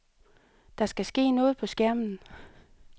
Der skal ske noget på skærmen.